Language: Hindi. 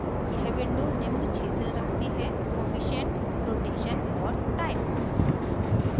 यह window निम्न क्षेत्र रखती है जैसेcoefficient कोअफिशन्ट rotation और type